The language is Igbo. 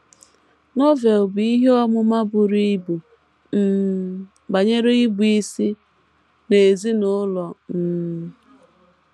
Novel bu ihe ọmụma buru ibu um banyere ịbụisi n’ezinụlọ um